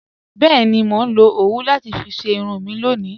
Bẹẹni, mó nlọ owú láti fí ṣẹ irun mi lọ́ni